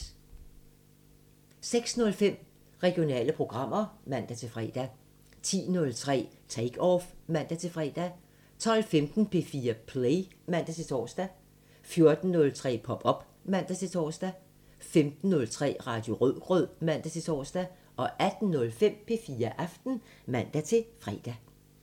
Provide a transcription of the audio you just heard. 06:05: Regionale programmer (man-fre) 10:03: Take Off (man-fre) 12:15: P4 Play (man-tor) 14:03: Pop op (man-tor) 15:03: Radio Rødgrød (man-tor) 18:05: P4 Aften (man-fre)